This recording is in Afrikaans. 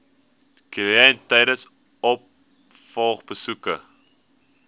kliënt tydens opvolgbesoeke